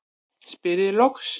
spyr ég loks.